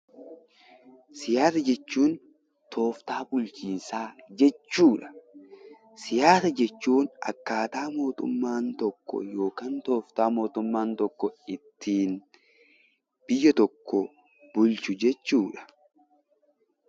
Siyaasa jechuun tooftaa bulchiinsaa jechuu dha. Siyaasa jechuun akkaataa mootummaan tokko yookaan tooftaa mootummaan tokko ittiin biyya tokko bulchu jechuu dha.